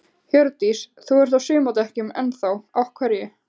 Hjördís: Þú ert á sumardekkjunum enn þá, af hverju?